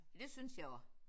Det synes jeg også